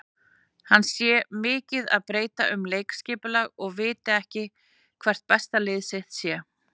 Hann sé mikið að breyta um leikskipulag og viti ekki hvert besta lið sitt sé.